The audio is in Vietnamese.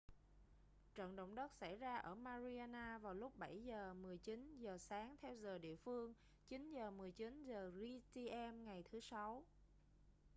trận động đất xảy ra ở mariana vào lúc 07:19 giờ sáng theo giờ địa phương 09:19 giờ gmt ngày thứ sáu